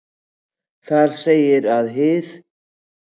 Þar segir að hið